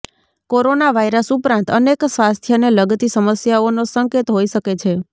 corona virus ઉપરાંત અનેક સ્વાસ્થ્યને લગતી સમસ્યાઓનો સંકેત હોય શકે છે